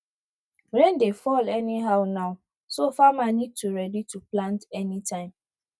rain dey fall anyhow now so farmer need to ready to plant anytime